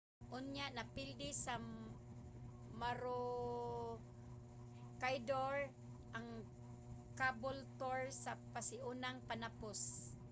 unya napildi sa maroochydore ang caboolture sa pasiunang panapos